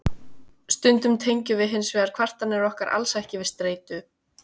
stundum tengjum við hins vegar kvartanir okkar alls ekki við streitu